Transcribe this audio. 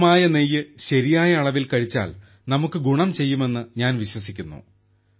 ശുദ്ധമായ നെയ്യ് ശരിയായ അളവിൽ കഴിച്ചാൽ നമുക്ക് ഗുണം ചെയ്യുമെന്ന് ഞാൻ വിശ്വസിക്കുന്നു